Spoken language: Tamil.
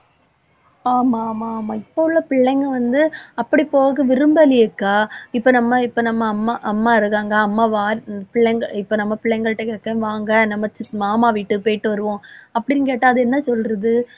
ஆமா ஆமா ஆமா இப்ப உள்ள பிள்ளைங்க வந்து அப்படி போக விரும்பலையேக்கா. இப்ப நம்ம இப்ப நம்ம அம்மா அம்மா இருக்காங்க. அம்மா வார்~ இ~ பிள்ளைங்க இப்ப நம்ம பிள்ளைங்கள்ட கேக்கேன் வாங்க நம்ம சி~ மாமா வீட்டுக்கு போயிட்டு வருவோம் அப்படின்னு கேட்டா அது என்ன சொல்றது